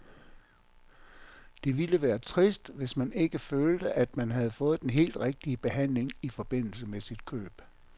Det ville være trist, hvis man ikke følte, at man havde fået den helt rigtige behandling i forbindelse med sit køb.